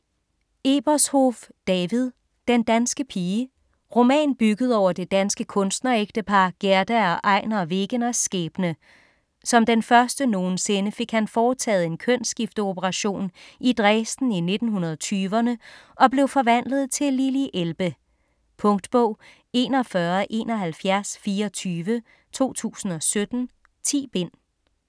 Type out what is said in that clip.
Ebershoff, David: Den danske pige Roman bygget over det danske kunstnerægtepar Gerda og Einar Wegeners skæbne. Som den første nogensinde fik han foretaget en kønsskifteoperation, i Dresden i 1920'erne, og blev forvandlet til Lili Elbe. Punktbog 417124 2017. 10 bind.